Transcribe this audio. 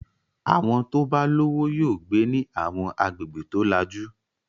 Àwọn tó bá lówó yóò gbé ní àwọn agbègbè tó lajú.